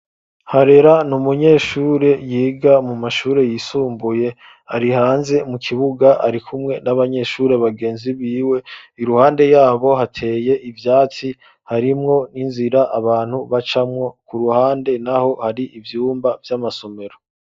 Harera n'umunyeshuri yiga mu mashuri yisumbuye ari hanze mu kibuga ari kumwe n'abanyeshuri abagenzi biwe iruhande yabo hateye ibyatsi harimwo n'inzira abantu bacamwo ku ruhande naho hari ivyumba vy'amasomero.